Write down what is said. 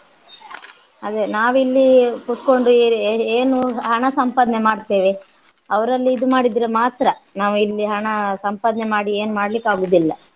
ಅದೇ ನಾವಿಲ್ಲಿ ಕೂತ್ಕೊಂಡು ಏ~ ಏ~ ಏ~ ಏನು ಹಣ ಸಂಪಾದನೆ ಮಾಡ್ತೇವೆ ಅವರಲ್ಲಿ ಇದು ಮಾಡಿದ್ರೆ ಮಾತ್ರ ನಾವಿಲ್ಲಿ ಹಣ ಸಂಪಾದನೆ ಮಾಡಿ ಏನ್ ಮಾಡ್ಲಿಕ್ಕಾಗುದಿಲ್ಲ